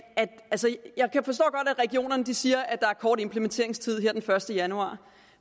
regionerne siger at der er kort implementeringstid her til den første januar